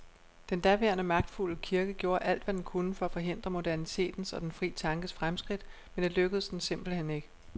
Den daværende magtfulde kirke gjorde alt, hvad den kunne for at forhindre modernitetens og den fri tankes fremskridt, men det lykkedes den simpelthen ikke.